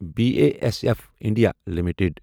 B A S F India limited